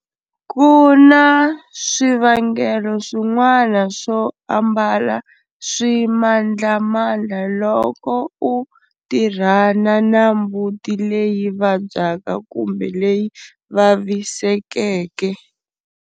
Ku na swivangelo swin'wana swo ambala swimandlamandla loko u tirhana na mbuti leyi vabyaka kumbe leyi vavisekeke.